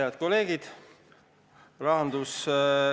Head kolleegid!